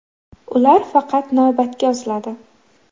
Ular faqat navbatga yoziladi.